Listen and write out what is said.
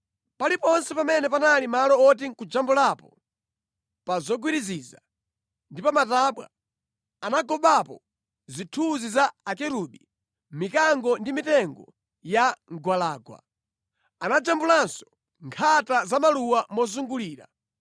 Paliponse pamene panali malo woti nʼkujambulapo, pa zogwiriziza ndi pa matabwa, anagobapo zithunzi za akerubi, mikango ndi mitengo ya mgwalangwa. Anajambulanso nkhata za maluwa mozungulira.